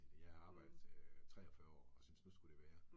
Jeg har arbejdet øh 43 og synes nu skulle det være